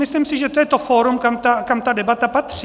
Myslím si, že to je to fórum, kam ta debata patří.